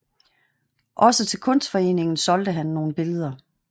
Også til Kunstforeningen solgte han nogle billeder